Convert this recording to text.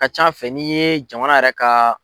ka can fɛ n'i ye jamana yɛrɛ ka